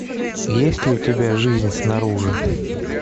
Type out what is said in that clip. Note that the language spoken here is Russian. есть ли у тебя жизнь снаружи